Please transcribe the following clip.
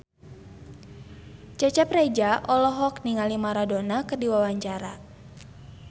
Cecep Reza olohok ningali Maradona keur diwawancara